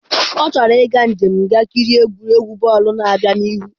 Ọ chọrọ ịga njem ga kirie egwuregwu bọọlụ na-abịa n'ihu.